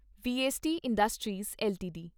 VST industries LTD